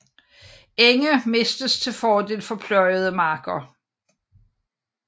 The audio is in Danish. Enge mistes til fordel for pløjede marker